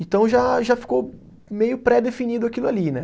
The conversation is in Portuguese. Então já já ficou meio pré-definido aquilo ali, né?